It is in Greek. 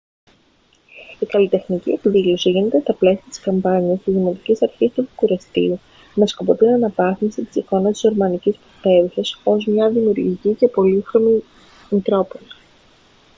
η καλλιτεχνική εκδήλωση γίνεται στα πλαίσια της καμπάνιας της δημοτικής αρχής του βουκουρεστίου με σκοπό την αναβάθμιση της εικόνας της ρουμανικής πρωτεύουσας ως μια δημιουργική και πολύχρωμη μητρόπολη